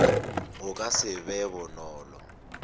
go ka se be bonolo